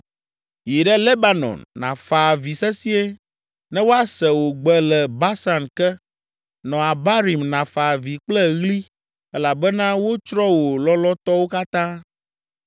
“Yi ɖe Lebanon, nàfa avi sesĩe ne woase wò gbe le Basan ke, nɔ Abarim nàfa avi kple ɣli elabena wotsrɔ̃ wò lɔlɔ̃tɔwo katã.